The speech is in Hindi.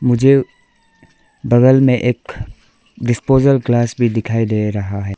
मुझे बगल में एक डिस्पोजल ग्लास भी दिखाई दे रहा है।